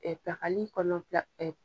pilakali kɔnɔ pila